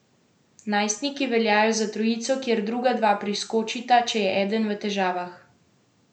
Najstniki veljajo za trojico, kjer druga dva priskočita, če je eden v težavah.